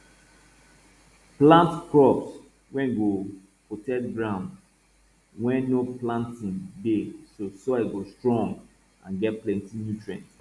plant crops wey go protect ground wen no planting dey so soil go strong and get plenti nutrient